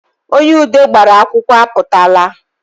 Onye ude gbara akwụkwọ apụtaala